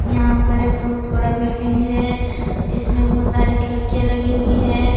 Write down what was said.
यहां पर एक बहुत बड़ा बिल्डिंग है जिसमें बहुत सारे खिड़कियां लगी हुई है।